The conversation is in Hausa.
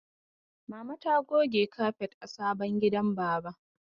Mama ta goge kafet a sabon gidan baba.